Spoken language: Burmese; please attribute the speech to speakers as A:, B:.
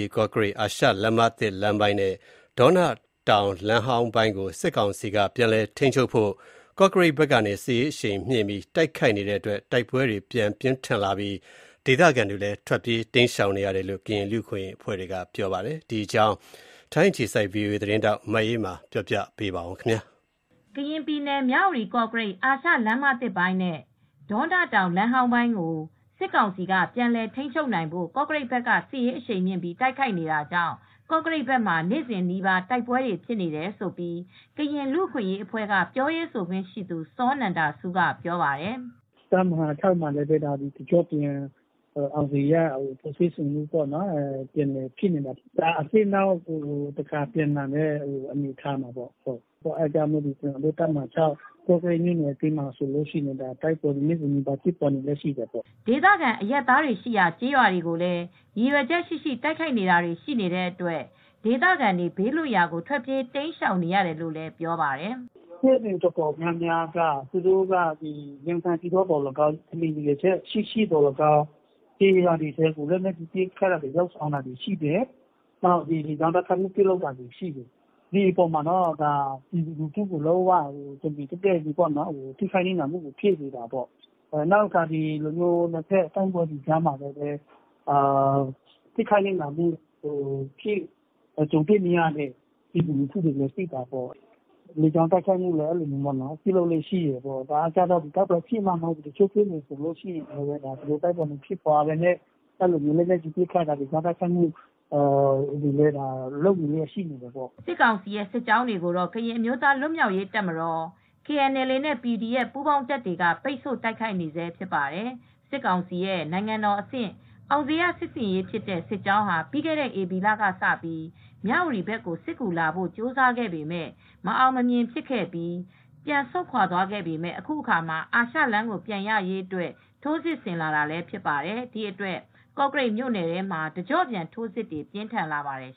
A: ီ-ကော့ကရိတ် အာရှလမ်းမသစ်လမ်းပိုင်းနဲ့ ဒေါနတောင်လမ်းဟောင်းပိုင်းကို စစ်ကောင်စီက ပြန်လည်ထိန်းချုပ်နိုင်ဖို့ ကော့ကရိတ်ဘက်ကနေ စစ်ရေးအရှိန်မြှင့်ပြီး တိုက်ခိုက်နေတဲ့အတွက် တိုက်ပွဲတွေပြန်ဖြစ်လာပြီး ဒေသခံတွေ ထွက်ပြေးတိမ်းရှောင်နေရတယ်လို့ ကရင်လူ့အခွင့်ရေးအဖွဲ့ကပြောပါတယ်။ ဒီအကြောင်း ဗွီအိုအေ သတင်းထောက် မအေးအေးမာက သတင်းပေးပို့ထားပါတယ်
B: ။ ကရင်ပြည်နယ်၊ မြဝတီ-ကော့ကရိတ် အာရှလမ်းမသစ်လမ်းပိုင်းနဲ့ ဒေါနတောင်လမ်းဟောင်းပိုင်းကို စစ်ကောင်စီက ပြန်လည်ထိန်းချုပ်နိုင်ဖို့ ကော့ကရိတ် ဘက်က စစ်ရေးအရှိန်မြှင့်ပြီးတိုက်ခိုက်နေတာကြောင့် ကော့ကရိတ်ဘက်မှာ နေ့စဉ်နီးပါးတိုက်ပွဲတွေ ဖြစ်နေတယ်လို့ ကရင်လူ့အခွင့်ရေးအဖွဲ့ ပြောရေးဆိုခွင့်ရှိသူ စောနန္ဒဆူးက ပြောပါတယ်
C: ။ "တပ်မဟာ ၆မှာလည်း တကျော့ပြန် အောင်ဇေယျစစ်ဆင်ရေးက ပြန်လည်ဖြစ်နေတာပေါ့။ အဲဒါ အသစ်နောက်တခေါက်ပြန်လာတဲ့ အနေအထားပေါ့။ ဒီအတွက် ကော့ကရိတ်မြို့နယ်ထဲမှာ နေ့စဉ်နီးပါး တိုက်ပွဲတွေက ဖြစ်နေပါတယ်။
B: " ဒေသခံ အရပ်သားတွေရှိရာ ကျေးရွာတွေကိုလည်း ရည်ရွယ်ချက်ရှိရှိ တိုက်ခိုက်တာတွေရှိနေတဲ့အတွက် ဒေသခံတွေ ဘေးလွှတ်ရာကို ထွက်ပြေး တိမ်းရှောင်နေကြရတယ်လို့လည်း ပြောပါတယ်။
C: "စစ်ဆင်ရေး အတော်များများက သူတို့က က ရည်ရွယ်ချက်ရှိရှိ ကျေးရွာတွေကို ပဲပစ်ခတ်နေတာမျိုး၊ လေကြောင်းတိုက်ခိုက်မှုတွေ လုပ်တာမျိုး။ ဒါက ပြည်သူကိုပဲ တမင်တိုက်ခိုက်တော့ နစ်နာမှုတွေဖြစ်တာပေါ့။ ဒါအပြင်နှစ်ဖက်တိုက်ခိုက်လို့ ထိခိုက်ရတဲ့ လူထုတွေလည်းရှိတာပေါ့။ လေကြောင်းတိုက်ခိုက်မူ့တွေလည်း ရှိတယ်။ တိုက်ပွဲဖြစ်မှ မဟုတ်ဘူး၊ တိုက်ပွဲမဖြစ်ပဲနဲ့လည်း လေကြောင်းတိုက်ခိုက်မှု၊ လက်နက်ကြီးတွေနဲ့
B: ပစ်ခတ်မှုတွေလည်း ရှိတယ်။" စစ်ကောင်စီစစ်ကြောင်းတွေကိုတော့ ကရင်အမျိုးသား လွတ်မြောက်ရေးတပ်မတော်-KNLA နဲ PDF ပူး ပေါင်းတပ်တွေက ပိတ်ဆို့တိုက်ခိုက် နေဆဲဖြစ်ပါတယ်။ စစ်ကောင်စီရဲ့ နိုင်ငံတော်အဆင့် အောင်ဇေယျ စစ်ဆင်ရေးဖြစ်တဲ့ စစ်ကြောင်းဟာ ပြီးခဲ့တဲ့ဧပြီလကစပြီး မြ၀တီဘက်ကို စစ်ကူလာဖို့ ကြိုးစားခဲ့ပေမယ့် မအောင်မမြင် ဖြစ်ခဲ့ပြီး ပြန်ဆုတ်ခွါသွားပေမယ့် အခုတခါ အာရှလမ်းကို ပြန်ရရေးအတွက် ထိုးစစ်ဆင်လာတာလည်း ဖြစ်ပါတယ်။ ဒီအတွက် ကော့ကရိတ်မြို့နယ်ထဲမှာ တကျော့ပြန် ထိုးစစ်တွေ ပြင်းထန်လာပါတယ်